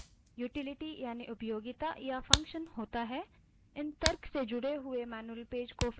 इन तर्कों से जुड़े हुए मैन्यूअल पेज को फिर ढूँढकर दर्शाया जाता है